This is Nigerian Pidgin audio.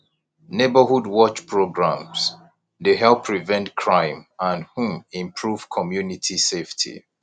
neighborhood watch programs dey help prevent crime and um improve community safety